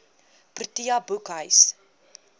protea boekhuis